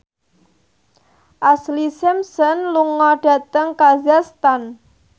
Ashlee Simpson lunga dhateng kazakhstan